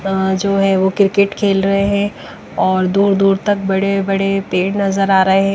जो है वो क्रिकेट खेल रहे हैं और दूर-दूर तक बड़े-बड़े पेड़ नज़र आ रहे हैं।